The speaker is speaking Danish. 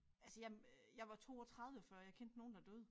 Altså jeg jeg var 32 før jeg kendte nogen der døde